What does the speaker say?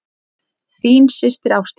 Þín systir, Ásdís.